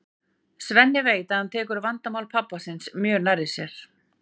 Svenni veit að hann tekur vandamál pabba síns mjög nærri sér.